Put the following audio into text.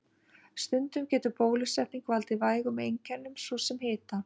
Stundum getur bólusetning valdið vægum einkennum, svo sem hita.